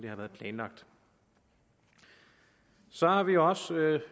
har været planlagt så har vi også